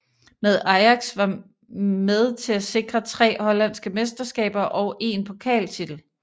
Med Ajax var med til at sikre tre hollandske mesterskaber og én pokaltitel